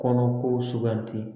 Kɔnɔko suganti